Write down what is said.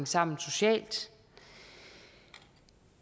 sammen socialt